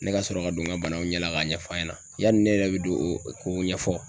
Ne ka sɔrɔ ka don n ka banaw ɲɛ la k'a ɲɛf'a ɲɛna, yali ne yɛrɛ bɛ don ko ɲɛfɔ